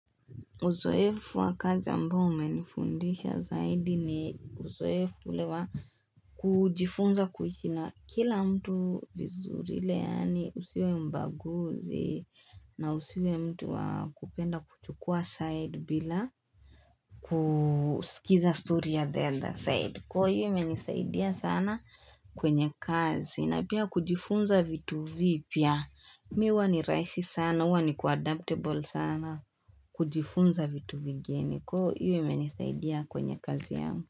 Uzoefu wa kazi ambao umenifundisha zaidi ni uzoefu ule wa kujifunza kuishi na kila mtu vizuri ile yani usiwe mbaguzi na usiwe mtu wakupenda kuchukua sade bila kusikiza stori ya the other side. Kwa hiyo imenisaidia sana kwenye kazi na pia kujifunza vitu vipya mimi huwa ni rahisi sana huwa niko adaptable sana kujifunza vitu vingine kwa hiyo ime nisaidia kwenye kazi yangu.